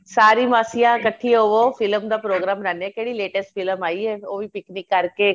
ਸਾਰੀ ਮਾਸੀਆਂ ਕਠੀਆਂ ਹੋ film ਦਾ program ਬਣਾਂਦੇ ਆ ਕਿਹੜੀ latest film ਆਈ ਏ ਉਹੀ picnic ਕਰਕੇ